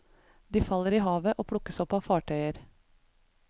De faller i havet og plukkes opp av fartøyer.